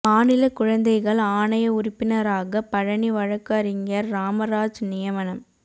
மாநில குழந்தைகள் ஆணைய உறுப்பினராக பழனி வழக்குரைஞா் ராமராஜ் நியமனம்